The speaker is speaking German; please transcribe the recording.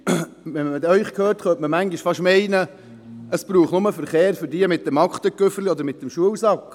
Wenn man Sie hört, könnte man manchmal fast meinen, es brauche nur Verkehr für jene mit dem Aktenkoffer oder mit dem Schulsack.